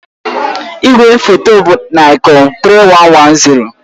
Igwefoto m bụ Nikon 3110